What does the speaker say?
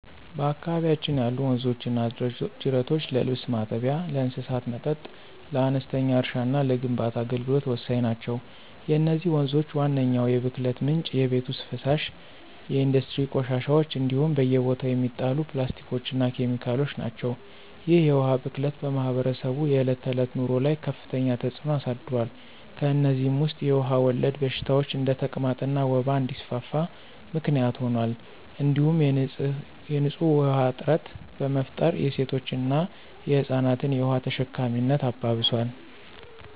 በአካባቢያችን ያሉ ወንዞችና ጅረቶች ለልብስ ማጠቢያ፣ ለእንስሳት መጠጥ፣ ለአነስተኛ እርሻና ለግንባታ አገልግሎት ወሳኝ ናቸው። የነዚህ ወንዞች ዋነኛው የብክለት ምንጭ የቤት ውስጥ ፍሳሽ፣ የኢንዱስትሪ ቆሻሻዎች እንዲሁም በየቦታው የሚጣሉ ፕላስቲኮችና ኬሚካሎች ናቸው። ይህ የውሃ ብክለት በማኅበረሰቡ የዕለት ተዕለት ኑሮ ላይ ከፍተኛ ተጽዕኖ አሳድሯል። ከእነዚህም ውስጥ የውሃ ወለድ በሽታዎች እንደ ተቅማጥና ወባ እንዲስፋፋ ምክንያት ሆኗል እንዲሁም የንፁህ ውሃ እጥረት በመፍጠር የሴቶችንና የህፃናትን የውሃ ተሸካሚነት አባብሷል።